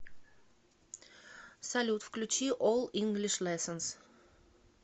салют включи ол инглиш лессонз